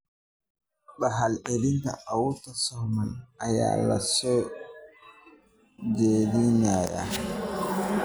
Dhaxal-celinta autosomal ayaa la soo jeediyay.